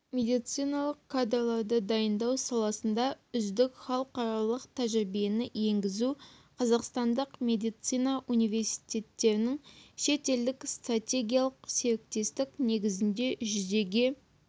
медициналық кадрларды дайындау саласында үздік халықаралық тәжірибені енгізу қазақстандық медицина университеттерінің шетелдік стратегиялық серіктестік негізінде жүзеге